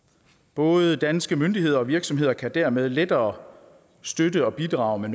både danske myndigheder og virksomheder kan dermed lettere støtte og bidrage med